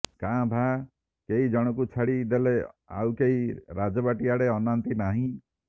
କାଁ ଭାଁ କେଇ ଜଣକୁ ଛାଡ଼ି ଦେଲେ ଆଉ କେହି ରାଜବାଟୀ ଆଡ଼େ ଅନାନ୍ତି ନାହିଁ